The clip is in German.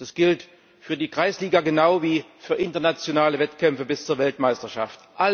Das gilt für die Kreisliga genau wie für internationale Wettkämpfe bis zur Weltmeisterschaft.